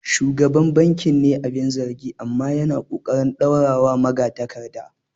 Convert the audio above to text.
Shugaban bankin ne abin zargi, amma yana ƙoƙarin dorawa magatakarda.